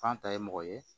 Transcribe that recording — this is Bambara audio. F'an ta ye mɔgɔ ye